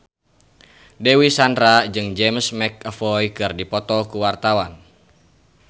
Dewi Sandra jeung James McAvoy keur dipoto ku wartawan